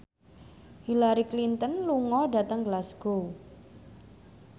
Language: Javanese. Hillary Clinton lunga dhateng Glasgow